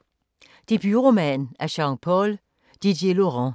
Debutroman af Jean-Paul Didierlaurent